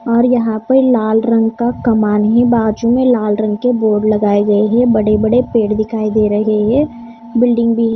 और यहां पर लाल रंग का कमान है बाजू में लाल रंग के बोर्ड लगाए गए हैं बड़े-बड़े पेड़ दिखाई दे रहे हैं बिल्डिंग भी--